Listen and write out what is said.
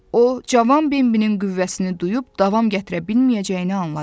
O, cavan Benbinin qüvvəsini duyub davam gətirə bilməyəcəyini anladı.